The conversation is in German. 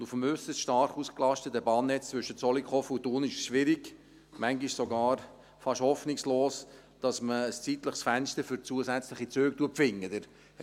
Auf dem äusserst stark ausgelasteten Bahnnetz zwischen Zollikofen und Thun ist es schwierig, manchmal sogar fast hoffnungslos, dass man ein zeitliches Fenster für zusätzliche Züge findet.